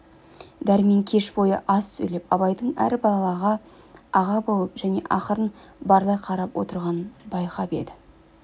дәрмен кеш бойы аз сөйлеп абайдың әр балаға аға болып және ақырын барлай қарап отырғанын байқаған еді